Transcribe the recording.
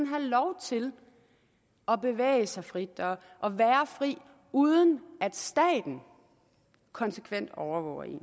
have lov til at bevæge sig frit og være fri uden at staten konsekvent overvåger en ud